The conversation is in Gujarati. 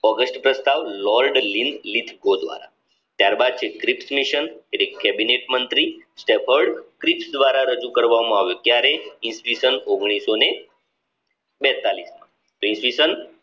કેબિનેટ મંત્રી દ્વારા રજુ કરવામાં આવે ત્યારે ઇ. સ માં